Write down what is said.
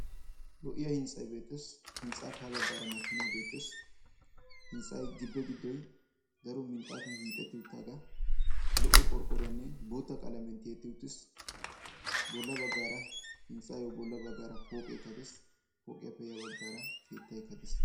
lo'iya hintstsay beettees, hintstsappe aha baggaara makinay beettes, hintstsay gibe giddoy lo'iya qalamiyan, lo''iya qorqqoroynne boota qalamiya tiyyetti uttiis, bolla baggaara hintstsayyo bolla baggaara pooqetta dees, pooqiyiyyo ya baggaara keettaykka des.